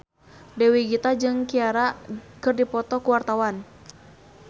Dewi Gita jeung Ciara keur dipoto ku wartawan